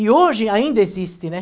E hoje ainda existe, né?